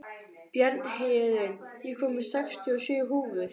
Bjarnhéðinn, ég kom með sextíu og sjö húfur!